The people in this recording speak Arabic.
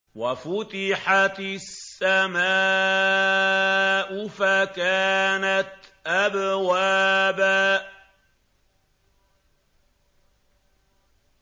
وَفُتِحَتِ السَّمَاءُ فَكَانَتْ أَبْوَابًا